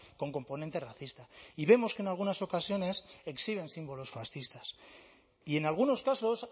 con componente racista y vemos que en algunas ocasiones exhiben símbolos fascistas y en algunos casos